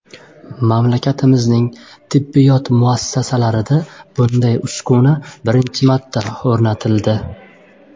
Mamlakatimizning tibbiyot muassasalarida bunday uskuna birinchi marta o‘rnatildi.